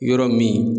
Yɔrɔ min